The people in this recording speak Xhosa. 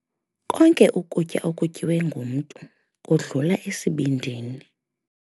Konke ukutya okutyiwe ngumntu kudlula esibindini.